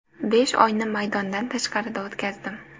Besh oyni maydondan tashqarida o‘tkazdim.